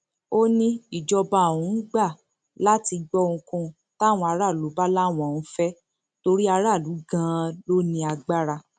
ó ní ìjọba òun gbà láti gbọ ohunkóhun táwọn aráàlú bá láwọn ń fẹ torí aráàlú ganan ló ní agbára